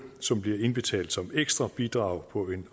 som bliver indbetalt som ekstra bidrag på en